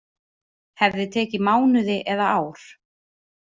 Hefði tekið mánuði eða ár